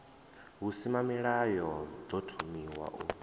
v husimamilayo ḓo thomiwaho u